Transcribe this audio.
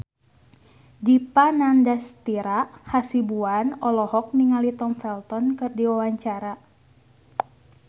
Dipa Nandastyra Hasibuan olohok ningali Tom Felton keur diwawancara